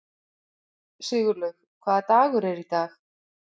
Sigurlaug, hvaða dagur er í dag?